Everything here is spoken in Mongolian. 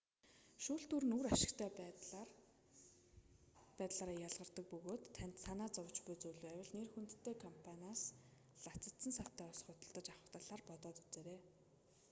шүүлтүүр нь үр ашигтай байдлаараа ялгардаг бөгөөд танд санаа зовж буй зүйл байвал нэр хүндтэй компаниас лацадсан савтай ус худалдаж авах талаар бодоод үзээрэй